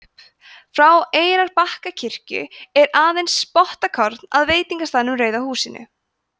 frá eyrarbakkakirkju er aðeins spottakorn að veitingastaðnum rauða húsinu